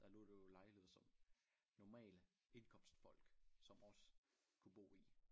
Der lå der jo lejligheder som normale indkomstfolk som os kunne bo i